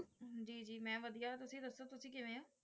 ਜੀ ਜੀ ਵਧੀਆ ਤੁਸੀਂ ਦੱਸੋ ਕਿਵੇਂ ਹੋ?